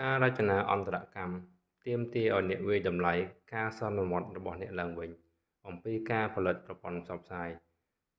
ការរចនាអន្តរកម្មទាមទារឱ្យអ្នកវាយតម្លៃការសន្មតរបស់អ្នកឡើងវិញអំពីការផលិតប្រព័ន្ធផ្សព្វផ្សាយ